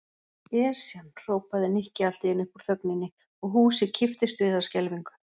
Esjan! hrópaði Nikki allt í einu upp úr þögninni og húsið kipptist við af skelfingu.